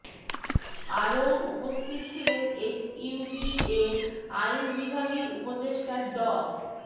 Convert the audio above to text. আরও উপস্থিত ছিলেন এসইউবি এর আইন বিভাগের উপদেষ্টা ড